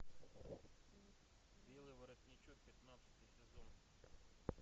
белый воротничок пятнадцатый сезон